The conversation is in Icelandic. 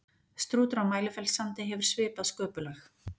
strútur á mælifellssandi hefur svipað sköpulag